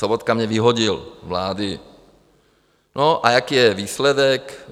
Sobotka mě vyhodil z vlády a jaký je výsledek?